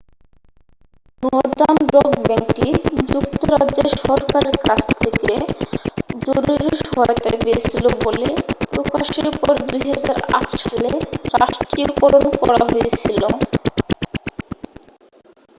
northern Rock ব্যাংকটি যুক্তরাজ্যের সরকারের কাছ থেকে জরুরি সহায়তা পেয়েছিল বলে প্রকাশের পরে 2008 সালে রাষ্ট্রীয়করণ করা হয়েছিল